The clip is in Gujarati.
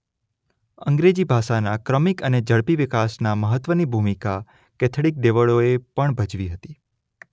અંગ્રેજી ભાષાના ક્રમિક અને ઝડપી વિકાસના મહત્વની ભૂમિકા કેથલિક દેવળોએ પણ ભજવી હતી.